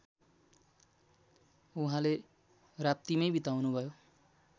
उहाँले राप्तीमै बिताउनुभयो